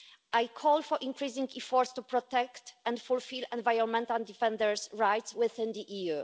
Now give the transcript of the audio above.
I call for increasing efforts to protect and fulfil environmental defenders rights within the EU.